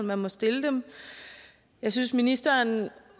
man må stille dem jeg synes ministeren